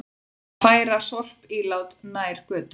Má færa sorpílát nær götu